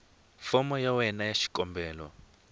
fomo ya wena ya xikombelo